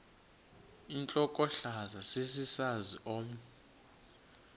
intlokohlaza sesisaz omny